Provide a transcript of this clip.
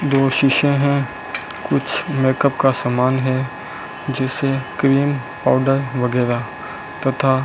दो शीशे हैं कुछ मेकअप का सामान है जैसे क्रीम पाउडर वगैरह तथा --